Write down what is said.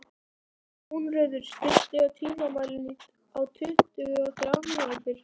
Húnröður, stilltu tímamælinn á tuttugu og þrjár mínútur.